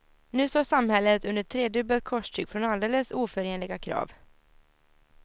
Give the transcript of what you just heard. Nu står samhället under tredubbelt korstryck från alldeles oförenliga krav.